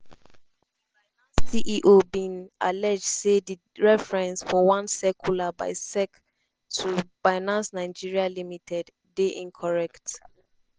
ceo bin allege say di reference for one circular by sec to ‘binance nigeria limited’ dey incorrect.